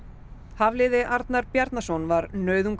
Hafliði Arnar Bjarnason var